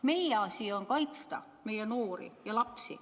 Meie asi on kaitsta noori ja lapsi.